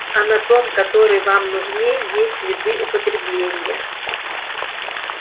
а на том который вам нужней есть следы употребления